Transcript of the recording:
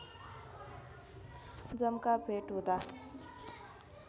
जम्काभेट हुँदा